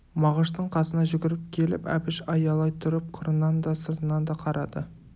мағыштың қасына жүгіріп келіп әбіш аялай тұрып қырынан да сыртынан да қарады